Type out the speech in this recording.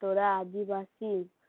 তোরা আদিবাসি